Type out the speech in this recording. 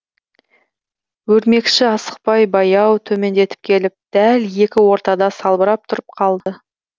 өрмекші асықпай баяу төмендеп келіп дәл екі ортада салбырап тұрып қалды